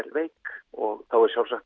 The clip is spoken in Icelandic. veik og þá er sjálfsagt